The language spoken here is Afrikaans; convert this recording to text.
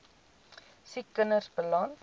siek kinders beland